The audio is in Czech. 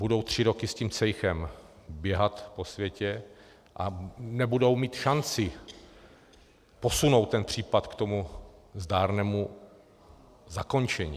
Budou tři roky s tím cejchem běhat po světě a nebudou mít šanci posunout ten případ k tomu zdárnému zakončení.